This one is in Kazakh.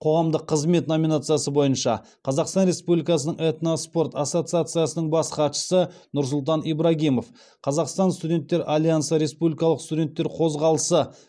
қоғамдық қызмет номинациясы бойынша қазақстан республикасының этноспорт ассоциациясының бас хатшысы нұрсұлтан ибрагимов қазақстан студенттер альянсы республикалық студенттер қозғалысы